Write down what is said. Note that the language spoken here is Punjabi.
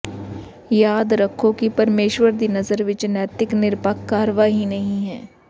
ਯਾਦ ਰੱਖੋ ਕਿ ਪਰਮੇਸ਼ੁਰ ਦੀ ਨਜ਼ਰ ਵਿਚ ਨੈਤਿਕ ਨਿਰਪੱਖ ਕਾਰਵਾਈ ਨਹੀ ਹੈ